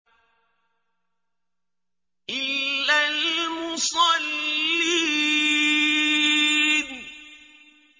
إِلَّا الْمُصَلِّينَ